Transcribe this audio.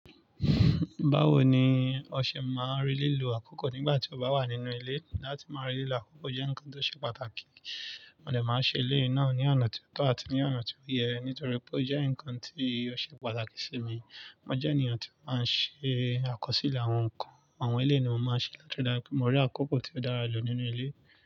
Báwo ni o ṣe máa really lo àkókò nígbà tí o bá wà nínú ilé? Látí máa lo àkókò jẹ́ ǹkan tó ṣe pàtàkì. Mo dẹ̀ máa ṣe eléyìí náà ní ọ̀ná tí ó tọ́ àti ní ọ̀ná tí ó yẹ nítorí pé ó jẹ́ ǹkan tí ó ṣe pàtàkì sí mi. Mo jẹ́ ènìyàn tí ó máa ń ṣe àkọsílẹ̀ àwọn nǹkan. Àwọn eléyìí mo máa ń ṣe- tí mo rí àkókò tí ó dára jù nínú ilé.